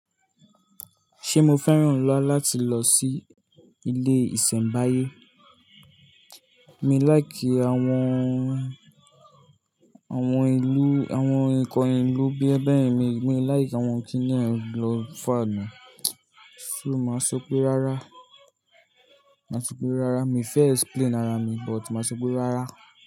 Ṣé mo fẹ́ràn lọwọ láti lọ sí ilé ìsẹ̀mbáyé? Mi láì kí àwọn, àwọn ìlú, àwọn ǹkan ìlú bí ẹ bẹ́ẹ̀ mi, mi láì kí àwọn kíníún lọ fà mí. Ṣo máa sọ pé rárá? Máa sọ pé rárá. Mi fẹ́ explain ara mi but máa sọ pé rárá.